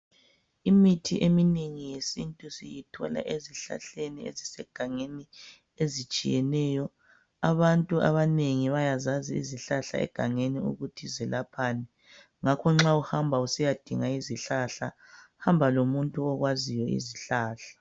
Imithi eminengi yesintu siyithola ezihlahleni ezisegangeni, ezitshiyeneyo. Abantu abanengi bayazazi izihlahla egangenii ukuthi zelaphani. Ngakho nxa uhamba, usiyadinga izihlahla, hamba lomuntu okwaziyo izihlahla.